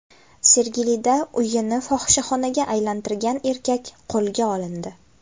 Sergelida uyini fohishaxonaga aylantirgan erkak qo‘lga olindi.